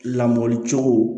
Lamɔ cogo